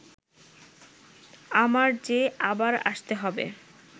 আমার যে আবার আসতে হবে